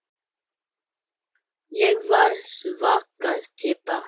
Ég var svaka týpa.